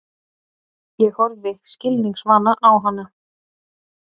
Ég horfi skilningsvana á hana.